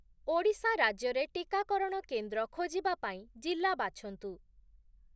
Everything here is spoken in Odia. ଓଡ଼ିଶା ରାଜ୍ୟରେ ଟିକାକରଣ କେନ୍ଦ୍ର ଖୋଜିବା ପାଇଁ ଜିଲ୍ଲା ବାଛନ୍ତୁ ।